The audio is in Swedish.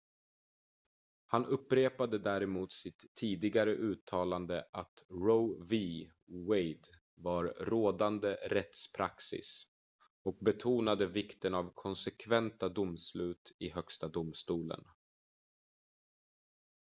"han upprepade däremot sitt tidigare uttalande att roe v. wade var "rådande rättspraxis" och betonade vikten av konsekventa domslut i högsta domstolen.